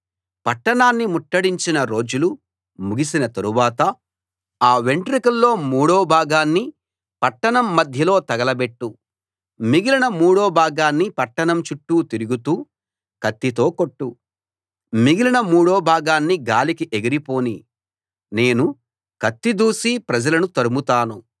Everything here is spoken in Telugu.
పట్టణాన్ని ముట్టడించిన రోజులు ముగిసిన తరువాత ఆ వెంట్రుకల్లో మూడో భాగాన్ని పట్టణం మధ్యలో తగలబెట్టు మిగిలిన మూడో భాగాన్ని పట్టణం చుట్టూ తిరుగుతూ కత్తితో కొట్టు మిగిలిన మూడో భాగాన్ని గాలికి ఎగిరి పోనీ నేను కత్తి దూసి ప్రజలను తరుముతాను